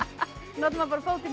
notar maður bara fótinn í